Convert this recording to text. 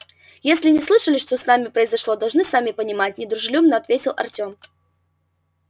если не слышали что с нами произошло должны сами понимать недружелюбно ответил артём